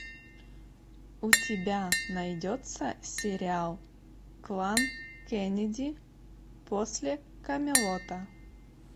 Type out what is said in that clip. у тебя найдется сериал клан кеннеди после камелота